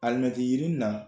yirini na